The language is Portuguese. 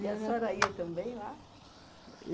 E a senhora ia também lá?